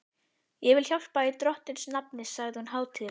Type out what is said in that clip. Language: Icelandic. Ég vil hjálpa í Drottins nafni sagði hún hátíðlega.